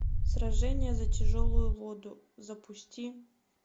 сражение за тяжелую воду запусти